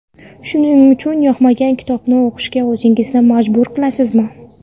Shuning uchun yoqmagan kitobni o‘qishga o‘zingizni majbur qilasizmi?